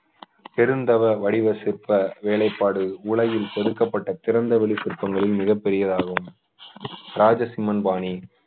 பெருந்தவ வடிவ சிற்ப வேலைப்பாடு உலகில் செதுக்கப்பட்ட திறந்த வெளி சிற்பங்களின் மிகப்பெரியதாகும் ராஜசிம்மன் பாணி